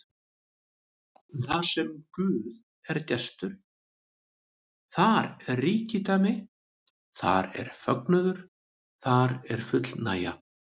Þarsem Guð er gestur, þar er ríkidæmi, þar er fögnuður, þar er fullnægja.